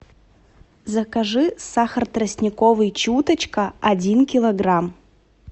закажи сахар тростниковый чуточка один килограмм